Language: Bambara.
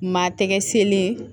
Maa tɛgɛ selen